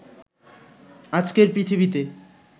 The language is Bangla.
আজকের পৃথিবীতে